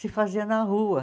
se fazia na rua.